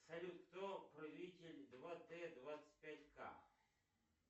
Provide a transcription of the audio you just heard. салют кто правитель два т двадцать пять к